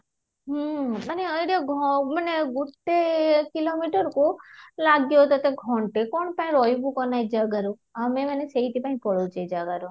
ହୁଁ ମାନେ idea ମାନେ ଗୋଟେ kilo meter କୁ ଲାଗିବ ତୋତେ ଘଣ୍ଟେ କ'ଣ ପାଇଁ ରହିବୁ କହନା ଏ ଜାଗାରେ ଆମେ ମାନେ ସେଇଠି ପାଇଁ ପାଳୁଛୁ ଏ ଜାଗର